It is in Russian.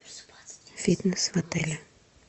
фитнес в отеле